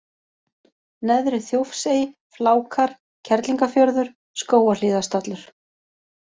Neðri-Þjófsey, Flákar, Kerlingarfjörður, Skógarhlíðarstallur